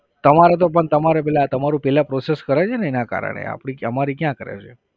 તમારે તો પણ તમારે પેલા તમારું પહેલા process કરે છે ને એના કારણ એ આપણી અમારી ક્યાં કરે છે?